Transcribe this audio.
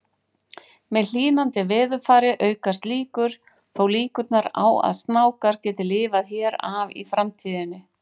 Með hlýnandi veðurfari aukast þó líkurnar á að snákar geti lifað hér af í framtíðinni.